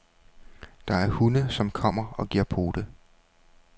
Der er hunde, som kommer og giver pote.